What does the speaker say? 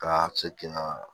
Ka se k'i na